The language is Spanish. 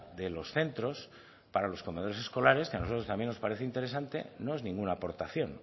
de los centros para los comedores escolares que a nosotros también nos parece interesante no es ninguna aportación